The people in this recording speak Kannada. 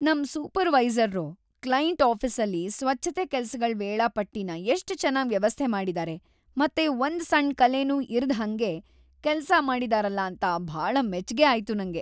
ನಮ್ ಸೂಪರ್ವೈಸರ್ರು ಕ್ಲೈಂಟ್ ಆಫೀಸಲ್ಲಿ ಸ್ವಚ್ಛತೆ ಕೆಲ್ಸಗಳ್ ವೇಳಾಪಟ್ಟಿನ ಎಷ್ಟ್ ಚೆನ್ನಾಗ್ ವ್ಯವಸ್ಥೆ ಮಾಡಿದಾರೆ ಮತ್ತೆ ಒಂದ್ ಸಣ್ಣ ಕಲೇನೂ ಇರ್ದ್‌ಹಂಗ್‌ ಕೆಲ್ಸ ಮಾಡಿದಾರಲ ಅಂತ ಭಾಳ ಮೆಚ್ಗೆ ಆಯ್ತು ನಂಗೆ.